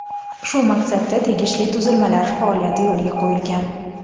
Shu maqsadda tegishli tuzilmalar faoliyati yo‘lga qo‘yilgan.